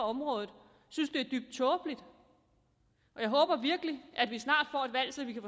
området synes det er dybt tåbeligt og jeg håber virkelig vi snart får et valg så vi